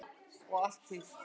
Og allt hitt.